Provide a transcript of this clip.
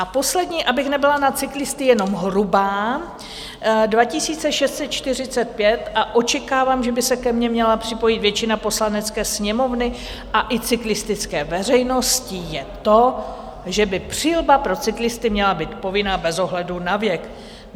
A poslední, abych nebyla na cyklisty jenom hrubá, 2645, a očekávám, že by se ke mně měla připojit většina Poslanecké sněmovny a i cyklistické veřejnosti, je to, že i přilba pro cyklisty měla být povinná bez ohledu na věk.